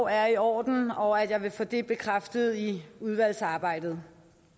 er i orden og at jeg vil få det bekræftet i udvalgsarbejdet